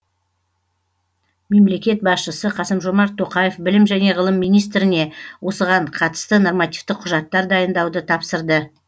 мемлекет басшысы қасым жомарт тоқаев білім және ғылым министріне осыған қатысты нормативтік құжаттар дайындауды тапсырды